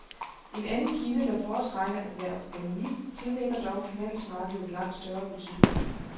En anden kilde, der foretrækker at være anonym, tillægger dog finansmarkedet langt større betydning.